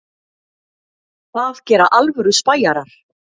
Það gera alvöru spæjarar.